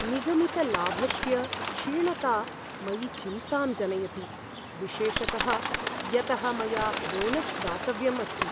निगमितलाभस्य क्षीणता मयि चिन्तां जनयति, विशेषतः यतः मया बोनस् दातव्यं अस्ति।